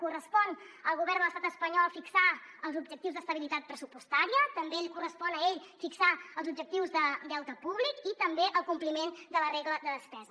correspon al govern de l’estat espanyol fixar els objectius d’estabilitat pressupostària també li correspon a ell fixar els objectius de deute públic i també el compliment de la regla de despesa